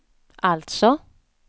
alltså